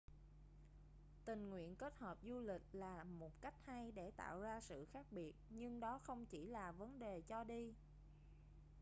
tình nguyện kết hợp du lịch là một cách hay để tạo ra sự khác biệt nhưng đó không chỉ là vấn đề cho đi